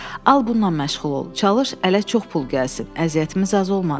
Al bununla məşğul ol, çalış ələ çox pul gəlsin, əziyyətimiz az olmadı.